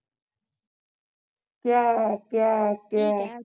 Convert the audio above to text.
ਕਯਾ ਕਯਾ ਕਯਾ